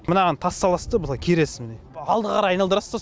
мынаған тас саласыз да былай кересіз міне алдыға қарай айналдырасыз